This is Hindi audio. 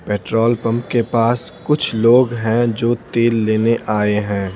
पेट्रोल पंप के पास कुछ लोग हैं जो तेल लेने आए हैं।